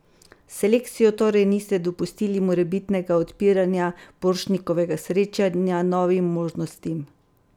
S selekcijo torej niste dopustili morebitnega odpiranja Borštnikovega srečanja novim možnostim?